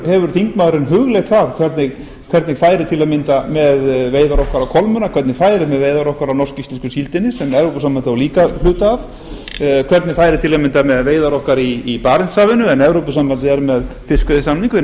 hefur þingmaðurinn hugleitt það hvernig færi til að mynda með veiðar okkar á kolmunna hvernig færi með veiðar okkar á norsk íslensku síldinni sem evrópusambandið á líka hluta af hvernig færi til að mynda með veiðar okkar í barentshafinu en evrópusambandið er með fiskveiðisamning við norðmenn